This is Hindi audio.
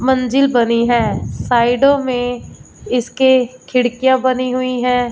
मंजिल बनी है साइडो में इसके खिड़कियां बनी हुई है।